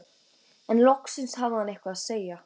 En loksins hafði hann eitthvað að segja.